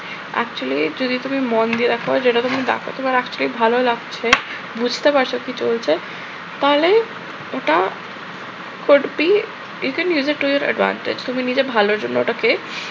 actually যদি তুমি মন দিয়ে দ্যাখো যেটা তুমি দেখ। তোমার actually ভালো লাগছে বুঝতে পারছ কি চলছে তাহলে ওটা could be even isn’t to your advantage তুমি নিজের ভালোর জন্য ওটাকে